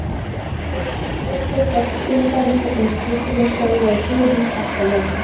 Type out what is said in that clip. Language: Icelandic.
Lilli rann stjórnlaust eftir þilfarinu uns skuturinn stöðvaði för hans harkalega.